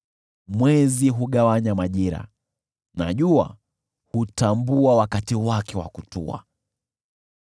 Mwezi hugawanya majira, na jua hutambua wakati wake wa kutua.